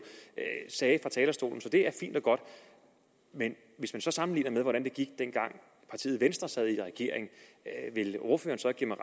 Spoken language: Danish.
sagde fra talerstolen så det er fint og godt men hvis man så sammenligner med hvordan det gik dengang partiet venstre sad i regering vil ordføreren så give mig